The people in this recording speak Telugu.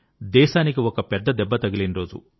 దేశానికి ఒక పెద్ద దెబ్బ తగిలిన రోజు